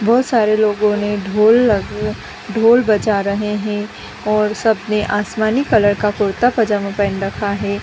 बहुत सारे लोगो ने ढोल लगे ढोल बजा रहे हैं और सब ने आसमानी कलर का कुरता पैजामा पेहन रखा है |.